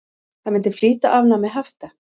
Það myndi flýta afnámi hafta.